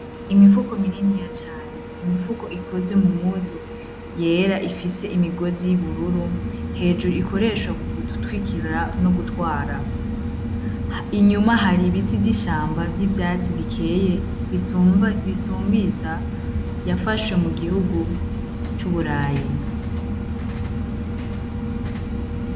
Imifuko mininiya cane, imifuko ikozwe mu mpuzu yera ifise imigozi y'ubururu hejuru ikoreshwa mu gutwikira no gutwara, inyuma hari ibiti vy'ishamba vy'ivyatsi bikeye bisumbiza yafashe mu gihugu c'iburayi.